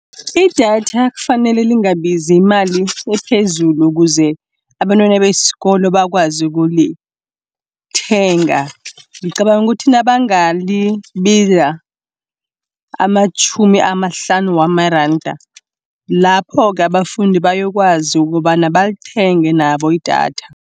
Idatha kufanele lingabizi imali ephezulu, ukuze abantwana besikolo bakwazi ukulithenga. Ngicabanga ukuthi nabangalibiza amatjhumi amahlanu wamaranda, lapho-ke abafundi bayokwazi kobana balithenga nabo idatha.